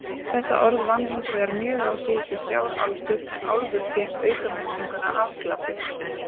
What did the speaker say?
Þetta orð vann hinsvegar mjög á síðustu þrjár aldur en álfur fékk aukamerkinguna afglapi.